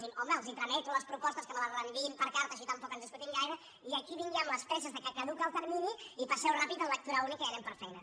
home els trameto les pro·postes que me les reenviïn per carta així tampoc ens discutim gaire i aquí ja vinc amb les presses que ca·duca el termini i passeu·ho ràpid en lectura ràpida i anem per feina